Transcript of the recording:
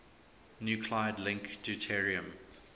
nuclide link deuterium